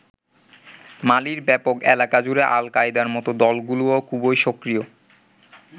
মালির ব্যাপক এলাকা জুড়ে আল কায়দার মত দলগুলোও খুবই সক্রিয়।